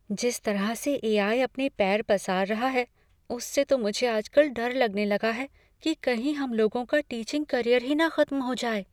जिस तरह से ए.आई. अपने पैर पसार रहा है, उससे तो मुझे आज कल डर लगने लगा है कि कहीं हम लोगों का टीचिंग करियर ही ना खत्म हो जाए।